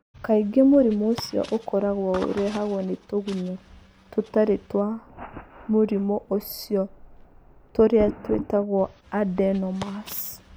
Kaingĩ mũrimũ ũcio ũkoragwo ũrehagwo nĩ tũgunyũ tũtarĩ twa mũrimũ ũcio tũrĩa twĩtagwo adenomas.